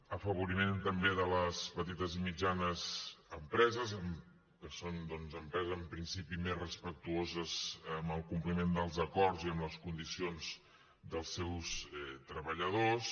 afavoriment també de les petites i mitjanes empreses que són doncs empreses en principi més respectuoses amb el compliment dels acords i amb les condicions dels seus treballadors